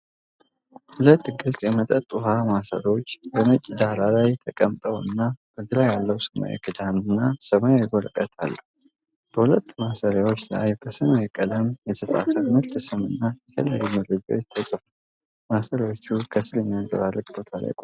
ሁለት ግልጽ የመጠጥ ውሃ ማሰሮዎች በነጭ ዳራ ላይ ተቀምጠውና በግራ ያለው ሰማያዊ ክዳን እና ሰማያዊ ወረቀት አለው። በሁለቱም ማሰሮዎች ላይ በሰማያዊ ቀለም የተጻፈ የምርት ስም እና የተለያዩ መረጃዎች ተጽፈዋል። ማሰሮዎቹ ከስር በሚያንጸባርቅ ቦታ ላይ ቆመዋል።